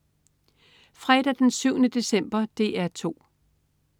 Fredag den 7. december - DR 2: